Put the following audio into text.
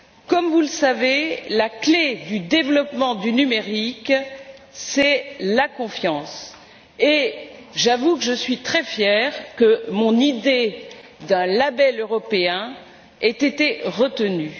Comme vous le savez, la clé du développement du numérique, c'est la confiance, et j'avoue que je suis très fière que mon idée d'un label européen ait été retenue.